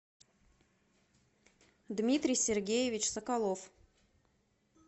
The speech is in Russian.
дмитрий сергеевич соколов